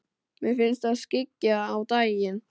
Mér finnst það skyggja á daginn.